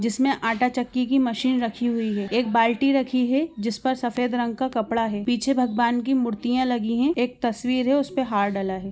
जिसमे आटा चक्की की मशीन रखी हुई है। एक बाल्टी रखी है। जिस पर सफ़ेद रंग का कपड़ा है। पीछे भगवान की मूर्तियाँ लगी हैं। एक तस्वीर है उस पे हार डला है।